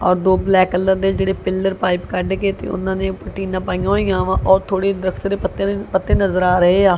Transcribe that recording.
ਔਰ ਦੋ black colour ਦੇ ਜਿਹੜੇ ਪਿੱਲਰ ਪਾਇਪ ਕੱਡ ਕੇ ਤੇ ਓਹਨਾ ਨੇ ਊਪਰ ਟੀਨਾਂ ਪਈਆਂ ਹੋਈਆਂ ਵਾਂ ਔਰ ਥੋੜੇ ਦਰੱਖਤ ਦੇ ਪੱਤੇ ਪੱਤੇ ਨਜ਼ਰ ਆ ਰਹੇ ਆ।